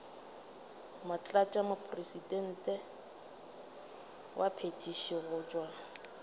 motlatšamopresidente wa phethišo go tšwa